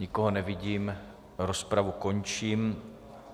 Nikoho nevidím, rozpravu končím.